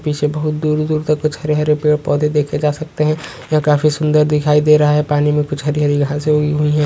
पीछे बहुत दूर-दूर तक कुछ हरे-हरे पेड़ पौधे देखे जा सकते है यह काफी सुंदर दिखाई दे रहा है पानी मे कुछ हरी-हरी घासे उगी हुई है।